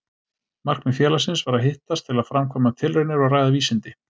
Markmið félagsins var að hittast til að framkvæma tilraunir og ræða vísindi.